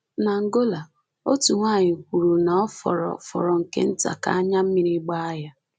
N’Angola, otu nwanyị kwuru na ọ fọrọ fọrọ nke nta ka anya mmiri gbaa ya.